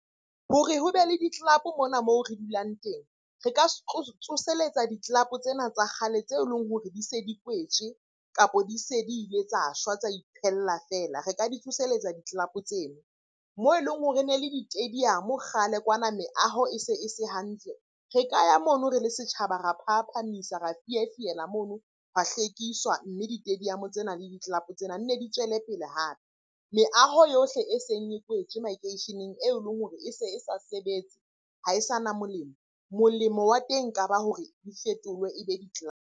Hore ho be le di-club-o mona moo re dulang teng, re ka tsoseletsa di-club-o tsena tsa kgale tse leng hore di se di kwetswe, kapa di se di le tsa shwa tsa iphella feela. Re ka di tsoselletsa di-club-o tseno. Moo e leng hore ne le di-stadium kgale kwana, meaho e se e se hantle. Re ka ya mono re le setjhaba ra phahaphahamisa, ra fiefiela mono, hwa hlwekiswa mme di-stadium tsena le di-club-o tsena nne di tswele pele hape. Meaho yohle e seng e kwetswe makeisheneng eo e leng hore e se e sa sebetse ha e sa na molemo, molemo wa teng ka ba hore di fetolwe e be di-club-o.